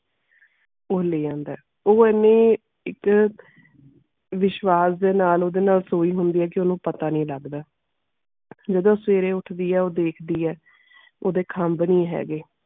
ਉਹ ਲੈ ਆਉਂਦਾ ਉਹ ਐਨੀ ਇਕ ਵਿਸ਼ਵਾਸ ਦੇ ਨਾਲ ਓਦੇ ਨਾਲ ਸੋਈ ਹੋਂਦੀ ਇਹ ਕੇ ਓਨੁ ਪਤਾ ਨਾਈ ਲੱਗਦਾ ਜਾਦੂ ਸਵੇਰੇ ਉੱਠਦੀ ਇਹ ਉਹ ਦਿਖਦੀਆਂ ਓਦੇ ਖਾਮ੍ਬ ਨਾਈ ਹੈਗੇ.